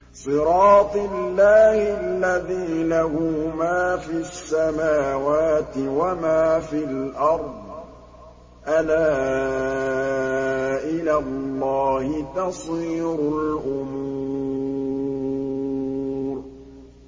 صِرَاطِ اللَّهِ الَّذِي لَهُ مَا فِي السَّمَاوَاتِ وَمَا فِي الْأَرْضِ ۗ أَلَا إِلَى اللَّهِ تَصِيرُ الْأُمُورُ